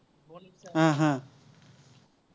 হম হম